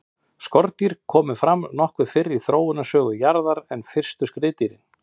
skordýr komu fram nokkuð fyrr í þróunarsögu jarðar en fyrstu skriðdýrin